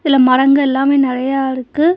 இல மரங்க எல்லாமே நெறையா இருக்கு.